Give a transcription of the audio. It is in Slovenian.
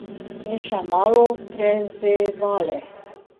In še malo prezebali.